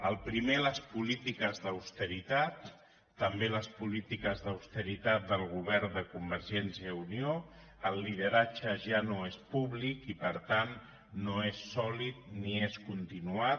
el primer les polítiques d’austeritat també les polítiques d’austeritat del govern de convergència i unió el lideratge ja no és públic i per tant no és sòlid ni es continuat